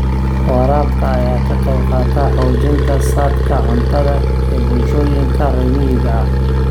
Waraabka ayaa ka qayb qaata xoojinta saadka cuntada ee bulshooyinka reer miyiga ah.